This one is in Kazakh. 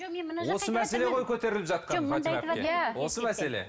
осы мәселе ғой көтеріліп жатқан фатима әпке осы мәселе